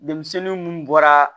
Denmisɛnnin munnu bɔra